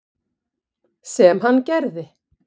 Sem hann gerði.